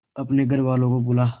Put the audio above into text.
अपने घर वालों को बुला